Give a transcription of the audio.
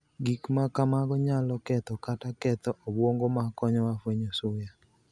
Gik ma kamago niyalo ketho kata ketho obwonigo ma koniyowa fweniyo suya.